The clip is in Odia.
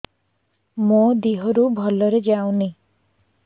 ମୋ ଦିହରୁ ଭଲରେ ଯାଉନି